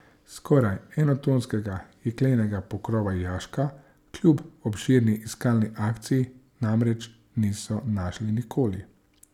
Skoraj enotonskega jeklenega pokrova jaška kljub obširni iskalni akciji namreč niso našli nikoli.